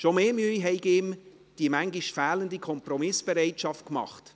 Schon mehr Mühe habe ihm die manchmal fehlende Kompromissbereitschaft bereitet.